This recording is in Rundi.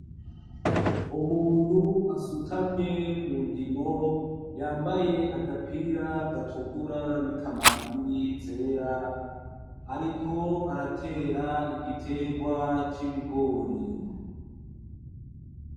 umuntu asutamye mundimo yambaye agapira gatukura n'ikamambiri zera ariko aratera igiterwa c'ibigori